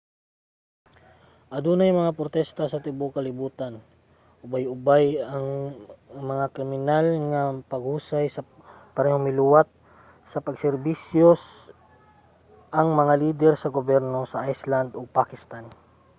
adunay mga protesta sa tibuok kalibutan ubay-ubay nga kriminal nga paghusay ug parehong miluwat sa pag-serbisyo ang mga lider sa gobyerno sa iceland ug pakistan